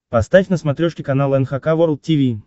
поставь на смотрешке канал эн эйч кей волд ти ви